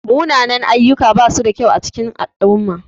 Munanan-ayyuka bashi da kyau a cikin al'umma.